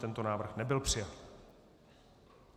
Tento návrh nebyl přijat.